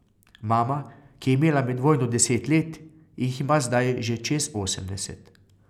Mama, ki je imela med vojno deset let, jih ima zdaj že čez osemdeset.